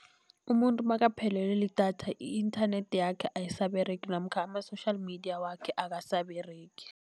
Umuntu makaphelelwe lidatha i-inthanethi yakhe ayisaberegi namkha ama-social media wakhe akasaberegi.